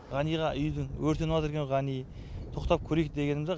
ғаниға үйді өртеніп екен ғани тоқтап көрейік дегенімде